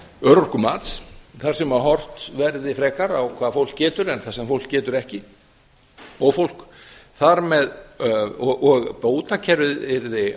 örorkumats þar sem frekar verði horft á hvað fólk getur en það sem fólk getur ekki að bótakerfið yrði